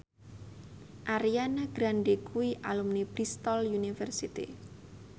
Ariana Grande kuwi alumni Bristol university